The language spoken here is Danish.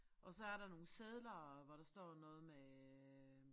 Og så er der nogle sedler hvor der står noget med